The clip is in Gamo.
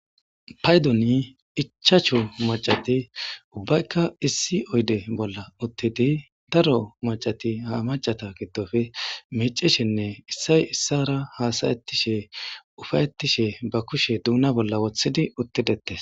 Paydoni ichachu macati ubbaykka issi oyde bolla uttidi daro macati ha macata giddofe micishinne issay issara hasayettishe ufayettishe ba kushe duuna bolla wothidi uttidettes